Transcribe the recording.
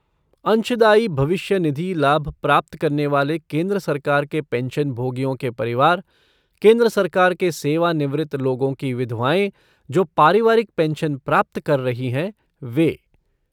अंशदायी भविष्य निधि लाभ प्राप्त करने वाले केंद्र सरकार के पेंशनभोगियों के परिवार, केंद्र सरकार के सेवानिवृत्त लोगों की विधवाएँ जो पारिवारिक पेंशन प्राप्त कर रही हैं, वे।